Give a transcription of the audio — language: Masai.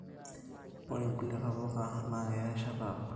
Ore nkulie ntapuka na keya erishata abuli